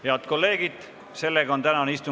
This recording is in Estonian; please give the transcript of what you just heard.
Head kolleegid, sellega on tänane istung lõppenud.